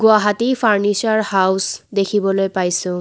Guwahati furniture house দেখিবলৈ পাইছোঁ।